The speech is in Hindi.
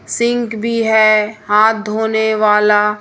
सिंक भी है हाथ धोने वाला--